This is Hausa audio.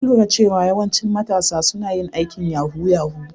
Na lura cewa yawancin matasa suna yin aikin yahoo -yahoo.